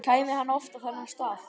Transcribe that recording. Kæmi hann oft á þennan stað?